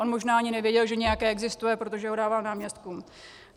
On možná ani nevěděl, že nějaké existuje, protože ho dával náměstkům.